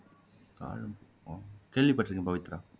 தாழம்பூ கேள்விப்பட்டிருக்கேன் பவித்ரா